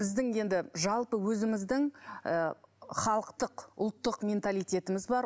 біздің енді жалпы өзіміздің ы халықтық ұлттық менталитетіміз бар